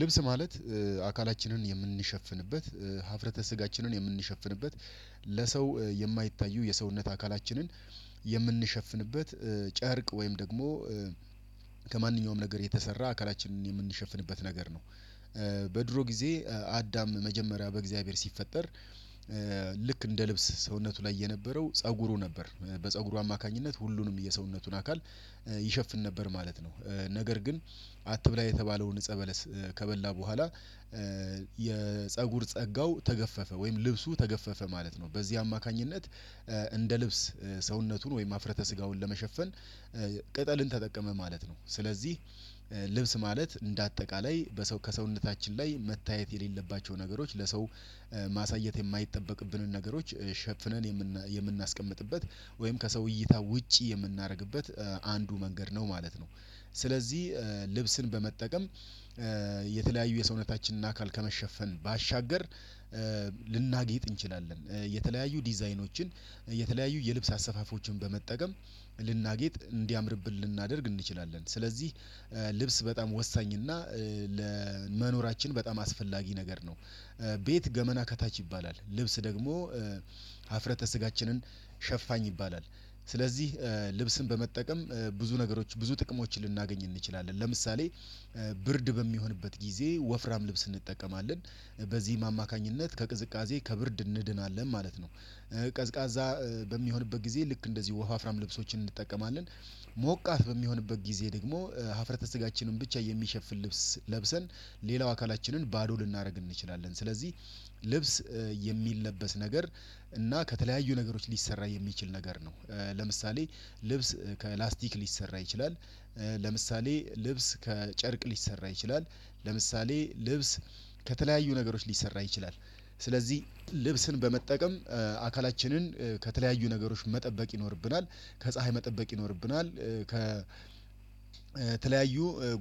ልብስ ማለት አካላችንን የምንሸፍንበት ሀፍረተ ስጋችንን የምንሸፍንበት ለሰው የማይታዩ የሰውነት አካላችንን የምንሸፍንበት ጨርቅ ወይም ደግሞ ከማንኛውም ነገር የተሰራ አካላችንን የምንሸፍንበት ነገር ነው። በድሮ ጊዜ አዳም መጀመሪያ በእግዚአብሔር ሲፈጠር ልክ እንደ ልብስ ሰውነቱ ላይ የነበረው ፀጉሩ ነበር በፀጉሩ አማካኝነት ሁሉንም የሰውነቱን አካል ይሸፍን ነበር ማለት ነው። ነገር ግን አትብላ የተባለውን እፀበለስ ከበላ በኋላ የፀጉር ጸጋው ተገፈፈ ወይም ልብሱ ተገፈፈ ማለት ነው። በዚህ አማካኝነት እንደ ልብስ ሰውነቱን ወይም ሀፍረተ ስጋውን ለመሸፈን ቅጠልን ተጠቀመ ማለት ነው። ስለዚህ ልብስ ማለት እንደ አጠቃላይ በሰው ከሰውነታችን ላይ መታየት የሌለባቸው ነገሮች ለሰው ማሳየት የማይጠበቅብንን ነገሮች ሸፍነን የምናስቀምጥበት ወይም ከሰው እይታ ውጪ የምናደርግበት አንዱ መንገድ ነው ማለት ነው። ስለዚህ ልብስን በመጠቀም የተለያዩ የሰውነታችንን አካል ከመሸፈን ባሻገር ልናጌጥ እንችላለን። የተለያዩ ዲዛይኖችን የተለያዩ የልብስ አሰፋፎችን በመጠቀም ልናጌጥ እንዲያምርብን ልናደርግ እንችላለን። ስለዚህ ልብስ በጣም ወሳኝና ለመኖራችን በጣም አስፈላጊ ነገር ነው። ቤት ገመና ከታች ይባላል ልብስ ደግሞ ሀፍረተ ስጋችንን ሸፋኝ ይባላል። ስለዚህ ልብስን በመጠቀም ብዙ ነገሮች ብዙ ጥቅሞችን ልናገኝ እንችላለን። ለምሳሌ ብርድ በሚሆንበት ጊዜ ወፍራም ልብስ እንጠቀማለን በዚህም አማካኝነት ከቅዝቃዜ ከብርድ እንድናለን ማለት ነው። ቀዝቃዛ በሚሆንበት ጊዜ ልክ እንደዚህ ወፋፍራም ልብሶችን እንጠቀማለን ሞቃት በሚሆንበት ጊዜ ደግሞ ሀፍረተ ስጋችንን ብቻ የሚሸፍን ልብስ ለብሰን ሌላው አካላችንን ባዶ ልናደርግ እንችላለን። ስለዚህ ልብስ የሚለበስ ነገር እና ከተለያዩ ነገሮች ሊሰራ የሚችል ነገር ነው። ለምሳሌ ልብስ ከላስቲክ ሊሰራ ይችላል። ለምሳሌ ልብስ ከጨርቅ ሊሰራ ይችላል። ለምሳሌ ልብስ ከተለያዩ ነገሮች ሊሰራ ይችላል። ስለዚህ ልብስን በመጠቀም አካላችንን ከተለያዩ ነገሮች መጠበቅ ይኖርብናል ከፀሀይ መጠበቅ ይኖርብናል ከተለያዩ